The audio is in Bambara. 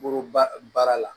Bolo ba baara la